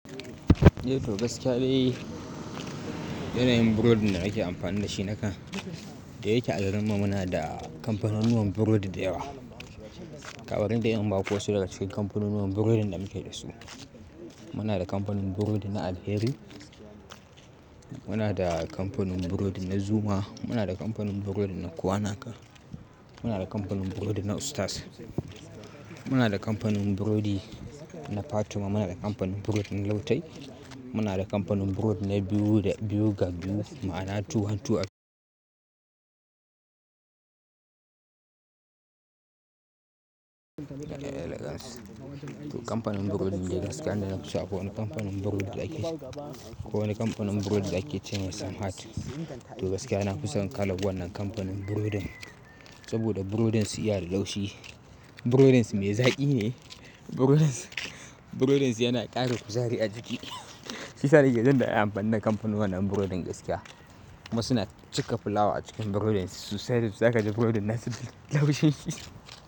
Yau to gaskiya ne, yanayin burodi da nake amfani da shi na kan, da yake agarin mu muna da kamfanunuwan burodi da yawa. Ka barin in ba ku wasu daga cikin kamfanunuwan burodin da muke da su. Muna da kamfanin burodi na Alheri, muna da kamfanin burodi na Zuma, muna da kamfanin burodi na Kowanaka, muna da kamfanin burodi na Ustaz, muna da kamfanin burodi na Fatima, muna da kamfanin burodin Lautay, muna da kamfanin burodin na Biyu da, Biyu ga Biyu ma'ana Two One Two. To kamfanin burodin da gaskiya na fi so ko wane kamfanin burodi da ake, ko wane kamfanin burodi da ake ce ne Sunheart. To gaskiya na fi son ƙalan wannan kamfanin burodin. Saboda burodin su iya da laushi, burodin su mai zaƙi ne, burodin su, burodin su yana ƙara kuzari a jiki. Shi ya sa nake jindadin anfanin da kamfanin wannan burodin gaskiya. Kuma suna cika fulawa a cikin burodin su, susai da susai zaka ji burodin na su da laushi.